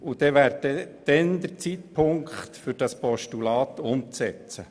Dann wäre der Zeitpunkt da, um dieses Postulat umzusetzen.